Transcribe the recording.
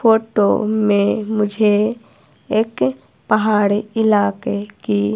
photo में मुझे एक पहाड़ इलाके की--